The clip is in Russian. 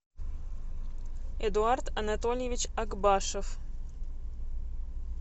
эдуард анатольевич акбашев